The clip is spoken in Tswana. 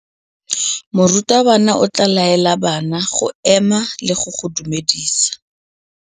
Morutabana o tla laela bana go ema le go go dumedisa.